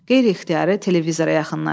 Qeyri-ixtiyari televizora yaxınlaşır.